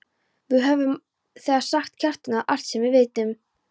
Við höfum þegar sagt Kjartani allt sem við vitum.